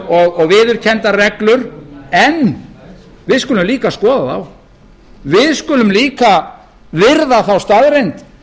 og viðurkenndar reglur en við skulum líka skoða þá við skulum líka virða þá staðreynd